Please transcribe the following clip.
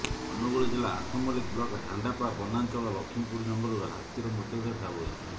ଅନୁଗୁଳ ଜିଲ୍ଲା ଆଠମଲ୍ଲିକ ବ୍ଲକ ହଣ୍ଡାପା ବନାଞ୍ଚଳ ଲକ୍ଷ୍ମୀପୁର ଜଙ୍ଗଲରୁ ହାତୀର ମୃତଦେହ ଠାବ ହୋଇଛି